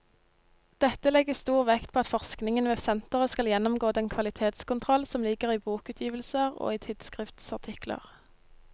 Dette legges stor vekt på at forskningen ved senteret skal gjennomgå den kvalitetskontroll som ligger i bokutgivelser og i tidsskriftsartikler.